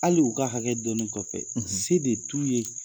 Hali u ka hakɛ dɔni kɔfɛ , se de t'u ye!